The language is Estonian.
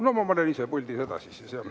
No ma olen ise puldis edasi siis, jah.